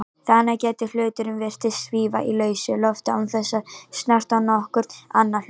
Þannig gæti hluturinn virst svífa í lausu lofti án þess að snerta nokkurn annan hlut.